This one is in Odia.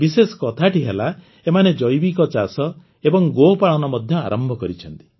ବିଶେଷ କଥାଟି ହେଲା ଏମାନେ ଜୈବିକ ଚାଷ ଏବଂ ଗୋପାଳନ ମଧ୍ୟ ଆରମ୍ଭ କରିଛନ୍ତି